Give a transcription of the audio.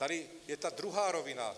Tady je ta druhá rovina.